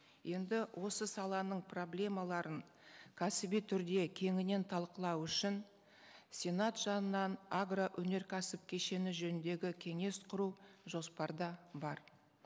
енді осы саланың проблемаларын кәсіби түрде кеңінен талқылау үшін сенат жанынан агроөнеркәсіп кешені жөніндегі кеңес құру жоспарда бар